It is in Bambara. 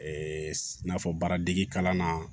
Ɛɛ i n'a fɔ baaradege kalan na